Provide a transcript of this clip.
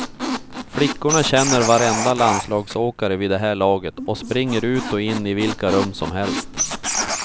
Flickorna känner varenda landslagsåkare vid det här laget och springer ut och in i vilka rum som helst.